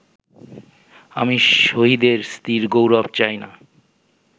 আমি শহীদের স্ত্রীর গৌরব চাই না